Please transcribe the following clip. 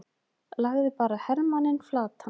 lagði bara hermanninn flatan!